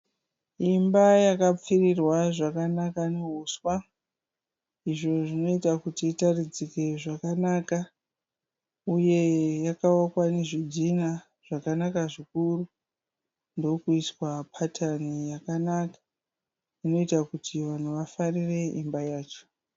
Imba yakapfirirwa zvakanaka nehuswa. Izvo zvinoita kuti itaridzike zvakanaka uye yakavakwa nezvidhinha zvakanaka zvikuru ndokuiswa patani yakanaka inoita kuti vanhu vafarire imba yacho.